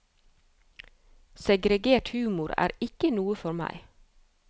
Segregert humor er ikke noe for meg.